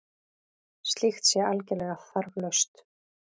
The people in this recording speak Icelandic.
Slíkt sé algerlega þarflaust